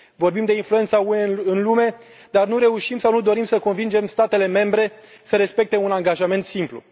Vorbim de influența UE în lume, dar nu reușim sau nu dorim să convingem statele membre să respecte un angajament simplu.